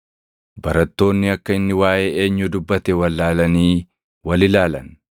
Barattoonni akka inni waaʼee eenyuu dubbate wallaalanii wal ilaalan.